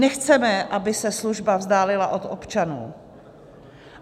Nechceme, aby se služba vzdálila od občanů.